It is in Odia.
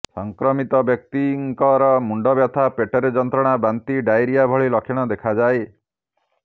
ସଂକ୍ରମିତ ବ୍ୟକ୍ତିଙ୍କର ମୁଣ୍ଡବ୍ୟଥା ପେଟରେ ଯନ୍ତ୍ରଣା ବାନ୍ତି ଡାଇରିଆ ଭଳି ଲକ୍ଷଣ ଦେଖାଯାଏ